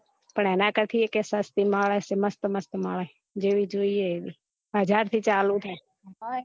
પણ એના કરતા ભી સસ્તી મળે મસ્ત મસ્ત મળે જેવી જોવે એવી હજાર થી ચાલુ થાય